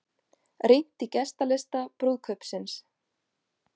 Rýnt í gestalista brúðkaupsins